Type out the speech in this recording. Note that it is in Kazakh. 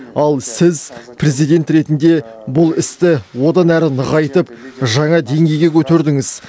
ал сіз президент ретінде бұл істі одан әрі нығайтып жаңа деңгейге көтердіңіз